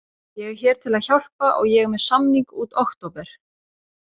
Ég hér til að hjálpa og ég er með samning út október.